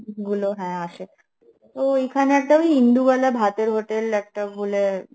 গুলো হ্যাঁ আসে তো ওইখানে একটা ওই ইন্দুবালা ভাতের hotel একটা বলে